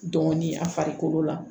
Dɔɔnin a farikolo la